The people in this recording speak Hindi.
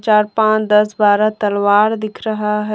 चार पांच दस बारह तलवार दिख रहा हैं ।